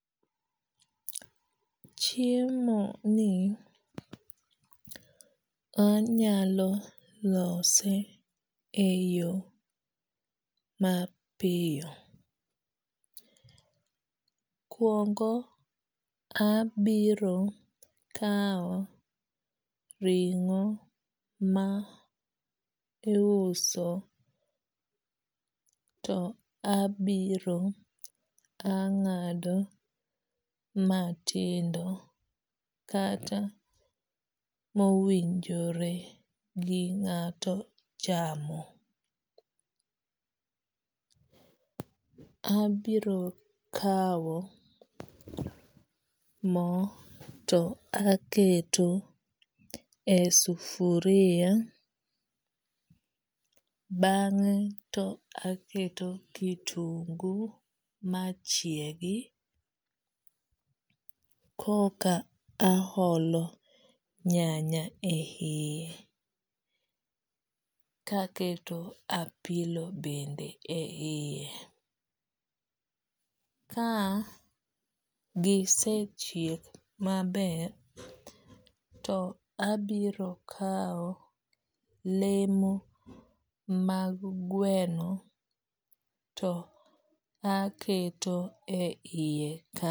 Chiemo ni anyalo lose e yo mapiyo. Mokuongo abiro kawo ring'o ma iuso to abiro ang'ado matindo kata mowinjore gi ng'ato chamo. Abiro kawo mo to aketo e sufria. Bang'e to aketo kitungo machiegi koka aholo nyanya e yie to aketo apilo bende e yie. Ka gisechiek maber to abiro kawo lemo mag gweno to aketo e yie